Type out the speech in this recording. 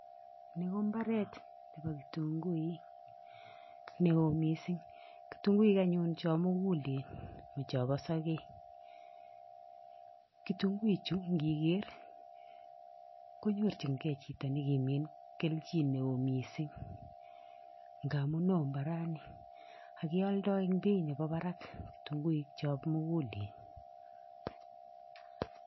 Ni ko imbaret nebo kitunguu neo missing kitunguik anyun chon mukulen mo chompo sokek, kitunguik chuu ikiker konyorjin gee chito nekimin keljin neo missing ingamun woi imbarani ak kioldo en beit nemii barak kitunguik chon mukulen.